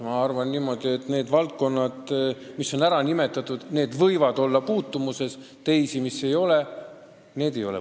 Ma arvan, et need valdkonnad, mis on ära nimetatud, võivad olla puutumuses, teised ei ole seda.